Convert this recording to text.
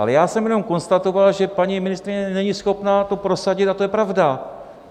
Ale já jsem jenom konstatoval, že paní ministryně není schopna to prosadit, a to je pravda.